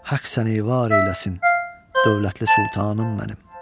Haqq səni var eyləsin, dövlətli sultanım mənim.